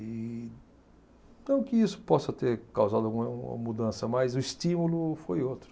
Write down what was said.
E, não que isso possa ter causado alguma mudança, mas o estímulo foi outro.